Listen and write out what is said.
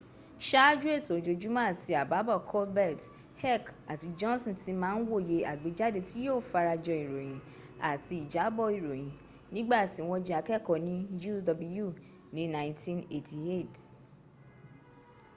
sááju ètò ojoojúmọ́ àtì àbábọ̀ colbert heck àti johnson ti ma ń wòye àgbéjáde tí yíó fara jọ ìròyìn—àti ìjábọ̀ ìròyìn—nígbàtí wọ́n jẹ́ akẹ́ẹ̀kọ́ ní uw ní 1988